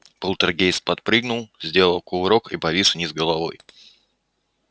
полтергейст подпрыгнул сделал кувырок и повис вниз головой